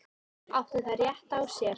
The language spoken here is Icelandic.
Áttu þær rétt á sér?